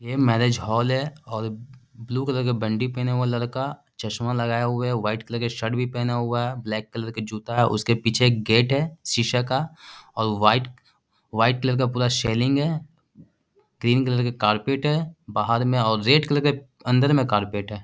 यह marriage hall है और ब्लू कलर का पहने हुए। लड़का चश्मा लगाये हुए और वाइट कलर का शर्ट भी पहना हुआ। ब्लेक कलर का जूता है और उसके पीछे एक गेट है। शीशे का और वाइट वाइट कलर का पूरा है। ग्रीन कलर के कारपेट है बाहर में और रेड कलर के अंदर में कारपेट है।